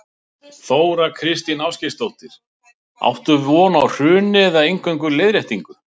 Þóra Kristín Ásgeirsdóttir: Áttu von á hruni eða eingöngu leiðréttingu?